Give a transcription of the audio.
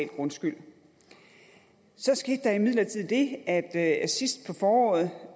grundskyld så skete der imidlertid det at at sidst på foråret